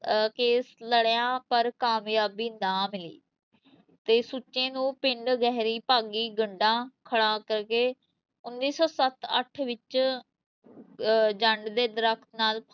ਅਹ case ਲੜਿਆ ਪਰ ਕਾਮਯਾਬੀ ਨਾ ਮਿਲੀ ਤੇ ਸੁੱਚੇ ਨੂੰ ਪਿੰਡ ਗਹਿਰੀ ਭਾਗੀ ਗੱਡਾ ਖੜਾ ਕਰ ਕੇ ਉੱਨੀ ਸੌ ਸੱਤ-ਅੱਠ ਵਿੱਚ ਅਹ ਜੰਡ ਦੇ ਦਰਖਤ ਨਾਲ